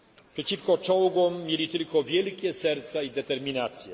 Przeciwko czołgom mieli tylko wielkie serca i determinację.